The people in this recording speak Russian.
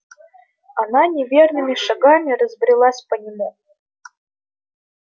она неверными шагами разбрелась по нему